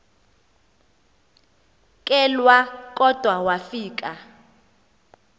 kelwa kodwa wafika